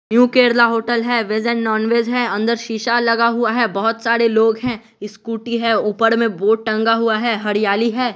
New Kerala hotel है veg and nonveg है अंदर शीशा लगा हुआ है बहुत सारे लोग हैं इस्कूटी है ऊपर में बोर्ड टंगा हुआ है हरयाली है।